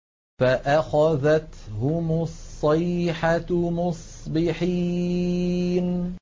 فَأَخَذَتْهُمُ الصَّيْحَةُ مُصْبِحِينَ